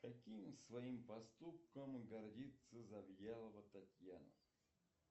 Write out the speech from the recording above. каким своим поступком гордится завьялова татьяна